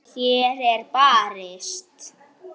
Hér er barist.